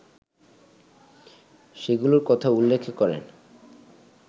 সেগুলোর কথা উল্লেখ করেন